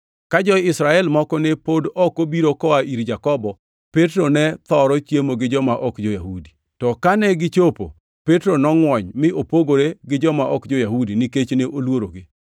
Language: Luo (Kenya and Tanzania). Ka jo-Israel moko ne pod ok obiro koa ir Jakobo, Petro ne thoro chiemo gi joma ok jo-Yahudi. To kane gichopo, Petro nongʼwony mi opogore gi joma ok jo-Yahudi nikech ne oluorogi.